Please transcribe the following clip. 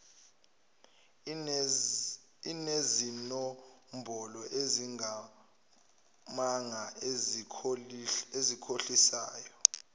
enezinombolo ezingamanga ezikhohlisayo